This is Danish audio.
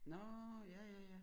Nårh ja ja ja